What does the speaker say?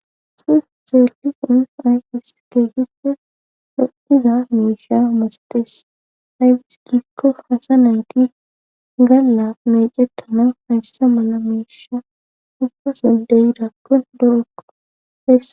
iSsi zeelliqun aycus teehiho doiza meesha masatees aybis giikko hasa nayti galla mecetana hayssa mala meesha ubbason deydakkon doekko